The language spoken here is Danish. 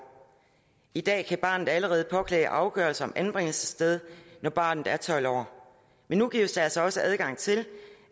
i dag kan barnet allerede påklage afgørelse om anbringelsessted når barnet er tolv år men nu gives der altså også adgang til